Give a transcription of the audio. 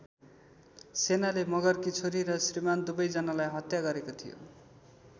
सेनाले मगरकी छोरी र श्रीमान् दुवै जनालाई हत्या गरेको थियो।